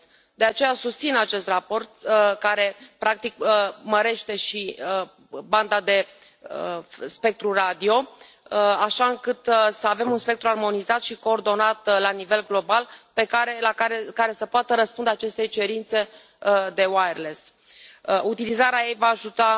De aceea, susțin acest raport care practic mărește și banda de spectru radio, așa încât să avem un spectru armonizat și coordonat la nivel global care să poată răspunde acestei cerințe de Utilizarea ei va ajuta